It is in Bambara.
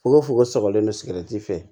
Fokofoko sabalen don sigɛrɛti fɛ